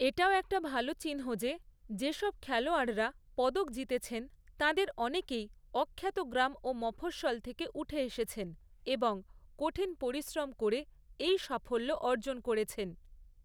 এটাও একটা ভালো চিহ্ন যে, যেসব খেলোয়াড়রা পদক জিতেছেন, তাঁদের অনেকেই অখ্যাত গ্রাম ও মফঃস্বল থেকে উঠে এসেছেন এবং কঠিন পরিশ্রম করে এই সাফল্য অর্জন করেছেন।